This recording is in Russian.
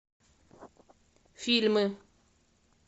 фильмы